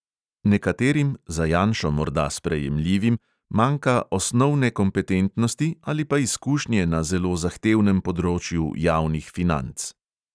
Nekaterim, za janšo morda sprejemljivim, manjka osnovne kompetentnosti ali pa izkušnje na zelo zahtevnem področju javnih financ.